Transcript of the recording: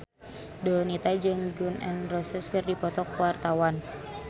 Donita jeung Gun N Roses keur dipoto ku wartawan